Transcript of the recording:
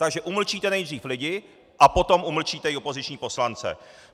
Takže umlčíte nejdřív lidi a potom umlčíte i opoziční poslance.